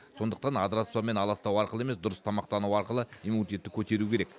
сондықтан адыраспанмен аластау арқылы емес дұрыс тамақтану арқылы иммунитетті көтеру керек